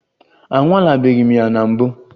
Anwalebeghị m ya na mbụ.